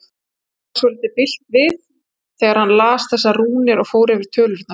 Honum varð svolítið bilt við þegar hann las þessar rúnir og fór yfir tölurnar.